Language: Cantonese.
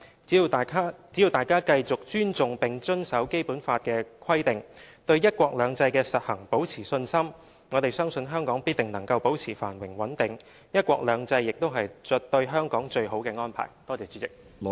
只要大家繼續尊重並遵守《基本法》的規定，對"一國兩制"的實行保持信心，我們相信香港必定能夠保持繁榮穩定，"一國兩制"亦是對香港最好的安排。